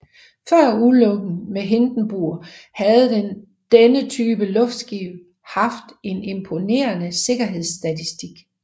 Før ulykken med Hindenburg havde denne type luftskib haft en imponerende sikkerhedsstatistik